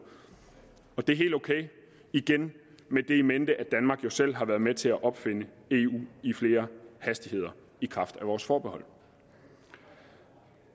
det er helt ok igen med det in mente at danmark jo selv har været med til at opfinde et eu i flere hastigheder i kraft af vores forbehold